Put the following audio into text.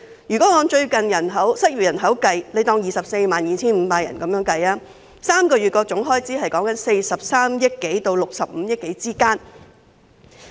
如果按最近失業人口計算，假設是 245,000 人 ，3 個月的總開支是43億多元至65億多元。